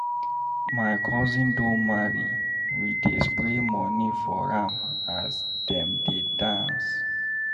My cousin don marry, we dey spray money for am as dem dey dance.